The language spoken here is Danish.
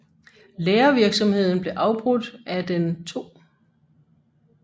Lærervirksomheden blev afbrudt af den 2